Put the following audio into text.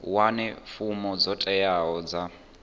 wane fomo dzo teaho dza